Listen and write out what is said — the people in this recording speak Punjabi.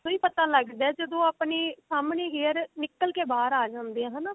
ਉਦੋਂ ਹੀ ਪਤਾ ਲੱਗਦਾ ਜਦੋਂ ਆਪਣੀ ਸਾਹਮਣੇ hair ਨਿਕਲ ਕੇ ਬਾਹਰ ਆ ਜਾਂਦੀ ਹੈ ਹਨਾ